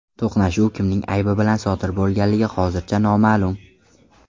To‘qnashuv kimning aybi bilan sodir bo‘lganligi hozircha noma’lum.